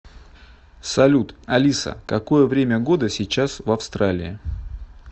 салют алиса какое время года сейчас в австралии